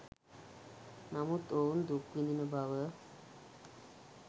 නමුත් ඔවුන් දුක් විඳින බව